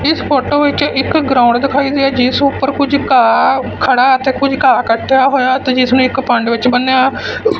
ਇਸ ਫੋਟੋ ਵਿੱਚ ਇੱਕ ਗਰਾਊਂਡ ਦਿਖਾਈ ਦੇ ਜਿਸ ਉੱਪਰ ਕੁਝ ਘਾਹ ਖੜਾ ਅਤੇ ਕੁਝ ਘਾਹ ਕੱਟਿਆ ਹੋਇਆ ਤੇ ਜਿਸ ਨੂੰ ਇੱਕ ਪੰਡ ਵਿੱਚ ਬੰਨਿਆ--